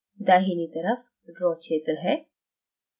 दाहिनी तरफ draw क्षेत्र है